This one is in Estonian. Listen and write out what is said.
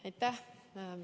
Aitäh!